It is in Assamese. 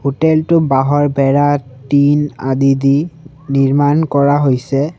হোটেল টো বাঁহৰ বেৰা টিন আদি দি নিৰ্মাণ কৰা হৈছে।